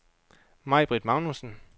Maibritt Magnussen